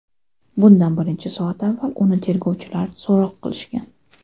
Bundan bir necha soat avval uni tergovchilar so‘roq qilishgan.